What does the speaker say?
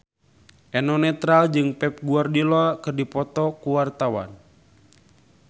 Eno Netral jeung Pep Guardiola keur dipoto ku wartawan